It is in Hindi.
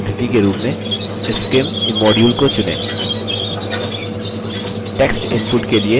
आगे keyboard input पद्धति के रूप में scimimmodule को चुनें